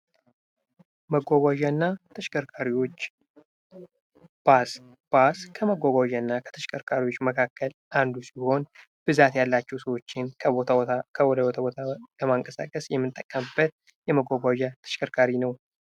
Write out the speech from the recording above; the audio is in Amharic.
መጓጓዣ እና ተሽከርካሪዎች ፦ ባስ ፦ ባስ ከመጓጓዣ እና ከተሽከርካሪዎች መካከል አንዱ ሲሆን ብዛት ያላቸው ሰዎችን ከቦታ ቦታ ለማንቀሳቀስ የምንጠቀምበት የመጓጓዣ ተሽከርካሪ ነው ።